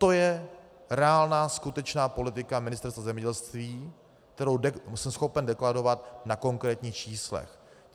To je reálná, skutečná politika Ministerstva zemědělství, kterou jsem schopen deklarovat na konkrétních číslech.